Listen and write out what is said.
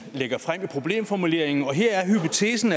lagde frem i problemformuleringen her er hypotesen